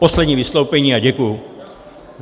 Poslední vystoupení a děkuji.